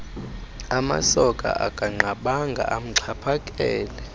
amasoka akanqabanga amxhaphakele